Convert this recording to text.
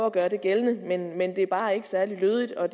at gøre det gældende men det er bare ikke særlig lødigt og